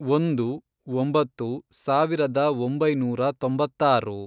ಒಂದು, ಒಂಬತ್ತು, ಸಾವಿರದ ಒಂಬೈನೂರ ತೊಂಬತ್ತಾರು